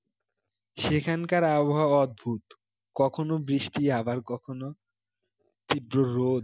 সেখানকার আবহাওয়া অদ্ভুত কখনো বৃষ্টি আবার কখনো তীব্র রোদ,